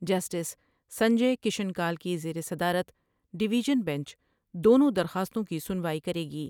Justice Sanjay Kishan Kaul کی زیر صدارت ڈیویژن بیچ دونوں درخواستوں کی سنوائی کرے گی ۔